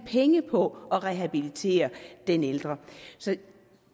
penge på at rehabilitere den ældre så